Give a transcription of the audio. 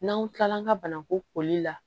N'an kilala an ka banakun koli la